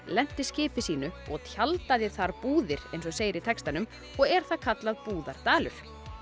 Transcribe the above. lenti skipi sínu og tjaldaði þar búðir eins og segir í textanum og er það kallað Búðardalur